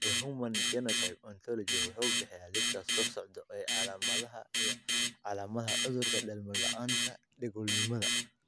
The Human Phenotype Ontology wuxuu bixiyaa liiska soo socda ee calaamadaha iyo calaamadaha cudurka dhalmo la'aanta Dhagoolnimada.